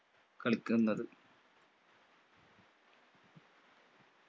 കളിക്കുന്നത്